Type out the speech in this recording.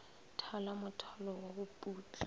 thala mothalo wa go putla